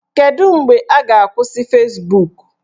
Kedu mgbe a ga-akwụsị Fezbuk?